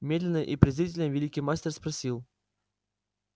медленно и презрительно великий мастер спросил